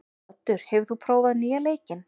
Oddur, hefur þú prófað nýja leikinn?